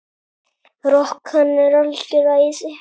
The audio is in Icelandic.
Rok, hann er algjört æði.